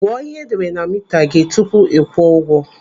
Gụọ ihe edere na mita gị tupu ịkwụọ ụgwọ.